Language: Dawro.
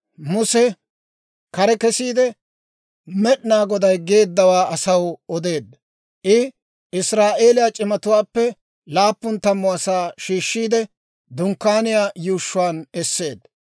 Muse kare kesiide, Med'inaa Goday geeddawaa asaw odeedda. I Israa'eeliyaa c'imatuwaappe laappun tammu asaa shiishiide, Dunkkaaniyaa yuushshuwaan esseedda.